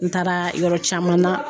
N taara yɔrɔ caman na.